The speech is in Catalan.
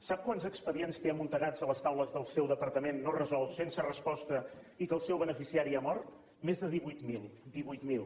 sap quants expedients té amuntegats a les taules del seu departament no resolts sense resposta i que el seu beneficiari ha mort més de divuit mil divuit mil